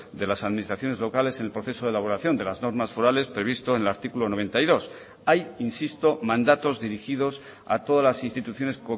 de las administraciones locales en el proceso de elaboración de las normas forales previsto en el artículo noventa y dos hay insisto mandatos dirigidos a todas las instituciones